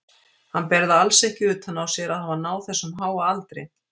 Hann ber það alls ekki utan á sér að hafa náð þessum háa aldri.